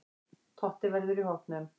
Totti verður í hópnum.